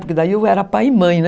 Porque daí eu era pai e mãe, né?